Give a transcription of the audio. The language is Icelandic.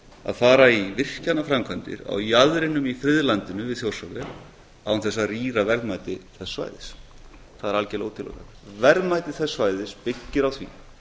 að fara í virkjanaframkvæmdir á jaðrinum í friðlandinu við þjórsárver án þess að rýra verðmæti þess svæðis það er algjörlega útilokað verðmæti þess svæðis byggir á því